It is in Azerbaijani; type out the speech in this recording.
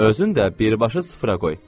Özün də birbaşa sıfıra qoy.